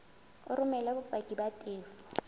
o romele bopaki ba tefo